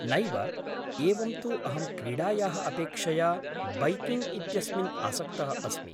नैव, एवं तु अहं क्रीडायाः अपेक्षया बैकिङ्ग् इत्यस्मिन् आसक्तः अस्मि।